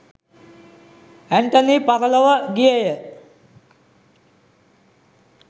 ඇන්ටනී පරලොව ගියේය.